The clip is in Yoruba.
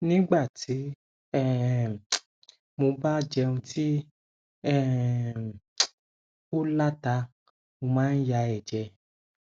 nígbà tí um mo bá jẹun tí um ó la ta mo máa ń ya ẹjẹ